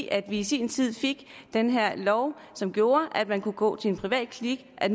at vi i sin tid fik den her lov som gjorde at man kunne gå til en privatklinik og at